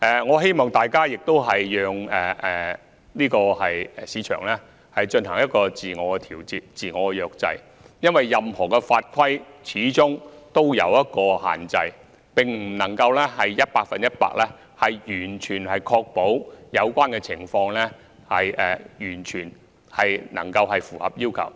我希望大家也讓市場自我調節、自我約制，因為任何法規始終也有限制，並不能夠百分之一百確保有關情況符合要求。